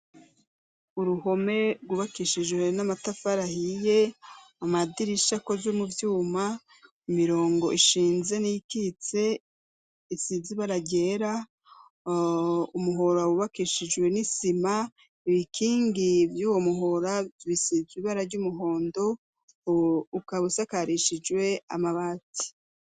Uruhome rwubakishijwe n'amatafari ahiye amadirisha akozwe muvyuma imirongo ishinze n'ikitse isize ibara ryera, umuhora wubakishijwe n'isima ibikingi vyuwo muhora bisize ibara ry'umuhondo ukaba usakarishijwe amabati.